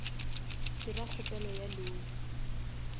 dira kgopelo ya loan